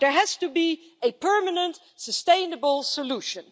There has to be a permanent sustainable solution.